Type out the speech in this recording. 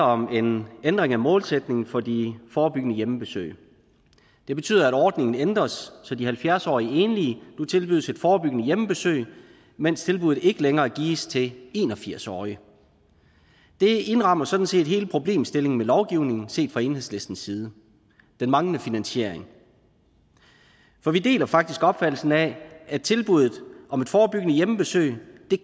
om en ændring af målsætningen for de forebyggende hjemmebesøg det betyder at ordningen ændres så de halvfjerds årige enlige nu tilbydes et forebyggende hjemmebesøg mens tilbuddet ikke længere gives til en og firs årige det indrammer sådan set hele problemstillingen ved lovgivningen set fra enhedslistens side den manglende finansiering for vi deler faktisk opfattelsen af at tilbuddet om et forebyggende hjemmebesøg det